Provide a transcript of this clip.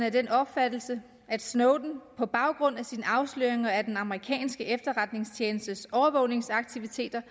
af den opfattelse at snowden på baggrund af sine afsløringer af den amerikanske efterretningstjenestes overvågningsaktiviteter